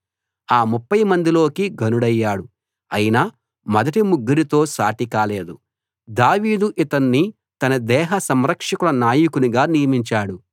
ఆ ముప్ఫై మందిలోకీ ఘనుడయ్యాడు అయినా మొదటి ముగ్గురితో సాటి కాలేదు దావీదు ఇతన్ని తన దేహ సంరక్షకుల నాయకునిగా నియమించాడు